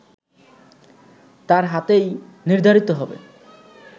তার হাতেই নির্ধারিত হবে